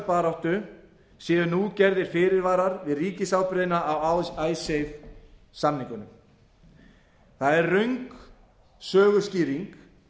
baráttu séu nú gerðir fyrirvarar við ríkisábyrgðina á icesave samningunum það er röng söguskýring